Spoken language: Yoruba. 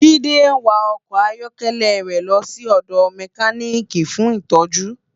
Jide n wá òkò áyòkèlè rè lò si òdò mèkánikí fún itòjú